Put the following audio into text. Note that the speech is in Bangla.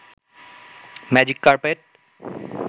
magic carpet